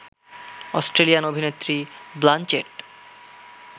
Australian অভিনেত্রী Blanchett